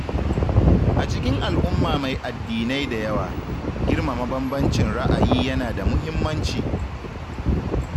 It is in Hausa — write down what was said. A cikin al'umma mai addinai da yawa, girmama bambancin ra'ayi yana da muhimmanci.